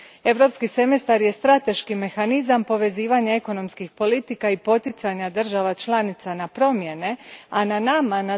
Europski semestar je strateški mehanizam povezivanja ekonomskih politika i poticanja država članica na promjene, a na nama, tj.